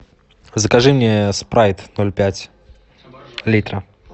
закажи мне спрайт ноль пять литра